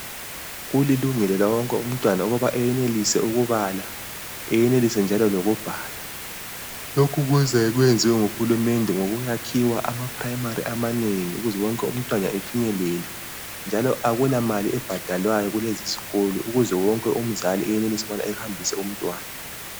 Kulilungela lawonku umntwana ukuba eyenelise ukubala. Eyenelise njalo lokubhala. Lokhu kuze kwenziwe nguhulumende ngokuyakhiwa amaphilamali amanengu ukuzewonke umntwana efinyelelwe. Njalo akulamali ebhadalwayo kulezi zikolo. Ukuze wonke umzali eyenelise ukubana ehambisa umntwana